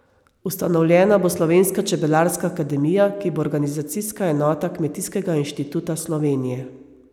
Ustanovljena bo Slovenska čebelarska akademija, ki bo organizacijska enota Kmetijskega inštituta Slovenije.